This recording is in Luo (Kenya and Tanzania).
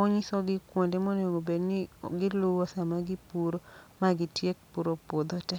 onyisogi kuonde monego bedni giluwo sama gipuro ma gitiek puro puodho te.